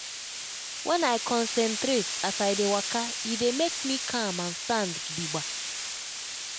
when i concentrate as i dey waka e dey make me calm and stand gidigba.